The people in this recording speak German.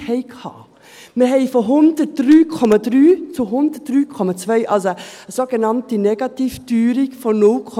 Wir haben von 103,3 Punkten zu 103,2 Punkten eine sogenannte Negativteuerung von 0,1 Punkten.